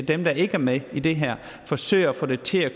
dem der ikke er med i det her forsøger at få det til at